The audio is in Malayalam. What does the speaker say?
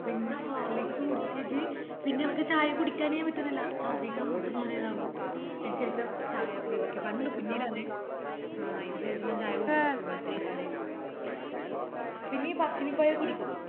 പിന്നെ horlicks കുടിച്ചിറ്റ് പിന്നെ എനക്ക് ചായ കുടിക്കാനെ പറ്റ്ന്നില്ലാ ഛർദിക്കാൻ മുട്ടന്ന പോലല്ലാകും അതിന് ശേഷം ചായ ഒയിവാക്കി പണ്ട് കുഞ്ഞിലാന്നെ ആഹ് അയിനിശേഷം ഞാൻ ചായ കുടിച്ചിറ്റില്ല ഇത്രം കലായിറ്റും പിന്നെ ഈ പറശ്ശിനി പോയ കുടിക്കും